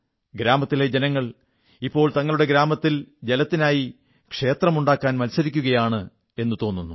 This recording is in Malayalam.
ഗ്രാമത്തിലെ ജനങ്ങൾ ഇപ്പോൾ തങ്ങളുടെ ഗ്രാമത്തിൽ ജലത്തിനായി ക്ഷേത്രമുണ്ടാക്കാൻ മത്സരിക്കയാണെന്നാണ് തോന്നുക